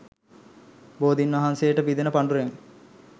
බෝධීන් වහන්සේට පිදෙන පඬුරෙන්